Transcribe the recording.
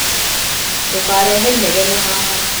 Ndũkarehe inegene haha